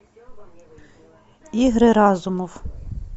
игры разумов